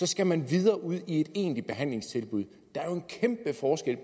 skal man videre ud i et egentligt behandlingstilbud der er jo en kæmpe forskel